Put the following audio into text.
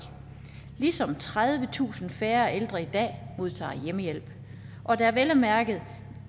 ligesom tredivetusind færre ældre i dag modtager hjemmehjælp og da vel at mærke